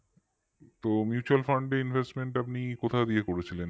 তো mutual fund এ investment আপনি কোথা দিয়ে করেছিলেন